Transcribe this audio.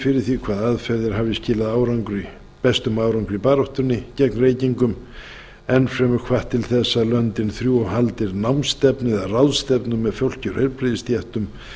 fyrir því hvaða aðferðir hafa skilað bestum árangri í baráttunni gegn reykingum enn fremur hvatt til þess að lengi þrjú haldi námstefnu eða ráðstefnu með fólki úr heilbrigðisstéttum